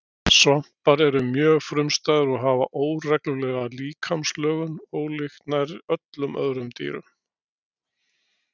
svampar eru mjög frumstæðir og hafa óreglulega líkamslögun ólíkt nær öllum öðrum dýrum